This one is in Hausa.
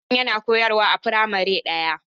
Hassan yana koyarwa a firamare ɗaya.